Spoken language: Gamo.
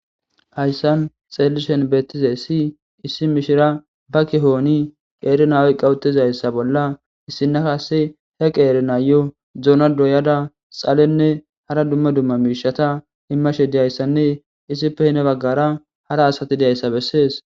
Hayssan xeelli shen beettize ssi issi mishira ba kihooni qeeri nawe qawutizayssa bolla issina kase he qeeri naayo duona doyada xalenne hara dumma dumma miishata immashe diyayssanne issipe hine baggara hara asati deayssa bessees.